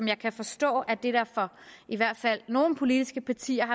jeg kan forstå i hvert fald nogle politiske partiers